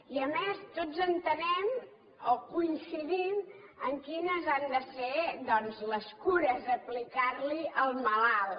i a més tots entenem o coincidim en quines han de ser doncs les cures a aplicar li al malalt